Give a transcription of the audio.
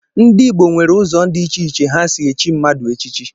Ndị Igbo nwere ụzọ dị iche iche ha si echi mmadụ echichi.